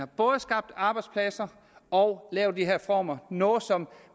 både har skabt arbejdspladser og lavet de her reformer noget som